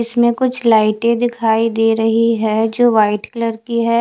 इसमें कुछ लाइटे दिखाई दे रही है जो वाइट कलर की है।